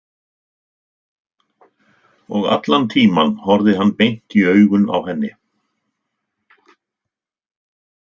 Og allan tímann horfði hann beint í augun á henni.